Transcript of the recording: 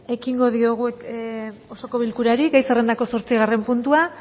ekingo diogu eh osoko bilkurari gai zerrendako zortzigarren puntua